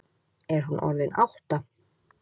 Er hún orðin átta?